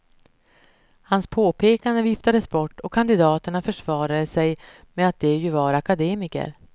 Hans påpekanden viftades bort, och kandidaterna försvarade sig med att de ju var akademiker.